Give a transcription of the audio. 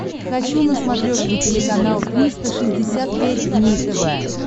хочу на смотрешке телеканал триста шестьдесят пять дней тв